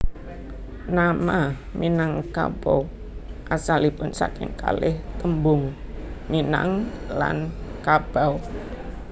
Nama Minangkabau asalipun saking kalih tembung minang lan kabau